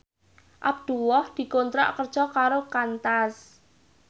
Abdullah dikontrak kerja karo Qantas